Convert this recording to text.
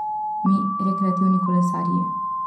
Mi, rekreativni kolesarji.